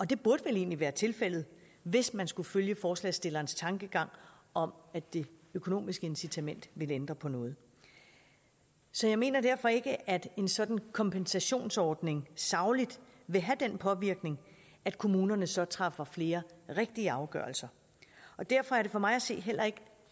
det burde vel egentlig være tilfældet hvis man skulle følge forslagsstillernes tankegang om at det økonomiske incitament ville ændre på noget så jeg mener derfor ikke at en sådan kompensationsordning sagligt vil have den påvirkning at kommunerne så træffer flere rigtige afgørelser og derfor er det for mig at se heller ikke